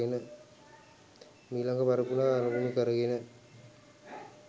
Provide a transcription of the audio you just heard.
මීළඟ පරපුර අරමුණු කරගෙනය.